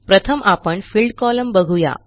प्रथम आपण field column बघू या